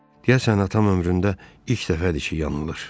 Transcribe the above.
Deyəsən atam ömründə ilk dəfədir ki, yanılır.